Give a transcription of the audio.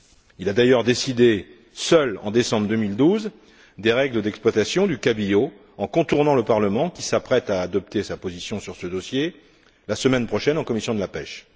Il a d'ailleurs décidé seul, en décembre 2012, des règles d'exploitation du cabillaud, en contournant le Parlement, qui s'apprête à adopter sa position sur ce dossier la semaine prochaine en commission de la pêche.